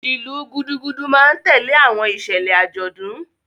Ilu Gudugudu ma n tẹle awọn iṣẹlẹ ajọdun.